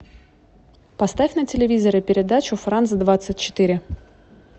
поставь на телевизоре передачу франс двадцать четыре